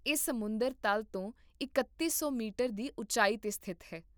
ਇਹ ਸਮੁੰਦਰ ਤਲ ਤੋਂ ਇਕੱਤੀ ਸੌ ਮੀਟਰ ਦੀ ਉਚਾਈ 'ਤੇ ਸਥਿਤ ਹੈ